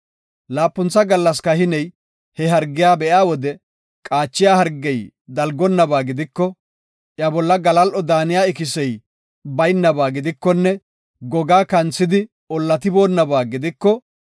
Laapuntha gallas kahiney he hargiya be7iya wode qaachiya hargey dalgonnaba gidiko, iya bolla galal7o daaniya ikisey baynaba gidikonne gogaa kanthidi ollatiboonaba gidiko,